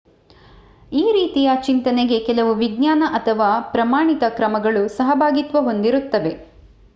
ಈ ರೀತಿಯ ಚಿಂತನೆಗೆ ಕೆಲವು ವಿಜ್ಞಾನ ಅಥವಾ ಪ್ರಮಾಣಿತ ಕ್ರಮಗಳು ಸಹಭಾಗಿತ್ವ ಹೊಂದಿರುತ್ತವೆ